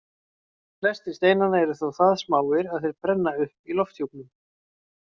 Flestir steinanna eru þó það smáir að þeir brenna upp í lofthjúpnum.